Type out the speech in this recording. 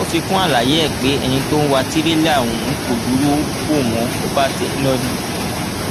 ó fi kún àlàyé ẹ pé ẹni tó wá tìrẹlà ọhún kò dúró wò wọn ò bá tiẹ lọ ni